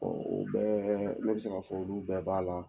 o bɛɛ ne bɛ se k'a fɔ olu bɛɛ b'a la.